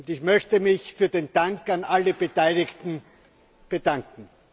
Ich möchte mich für den Dank bei allen Beteiligten bedanken.